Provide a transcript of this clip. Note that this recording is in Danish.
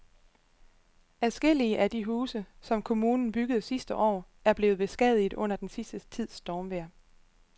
Adskillige af de huse, som kommunen byggede sidste år, er blevet beskadiget under den sidste tids stormvejr.